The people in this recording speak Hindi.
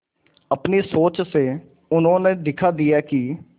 अपनी सोच से उन्होंने दिखा दिया कि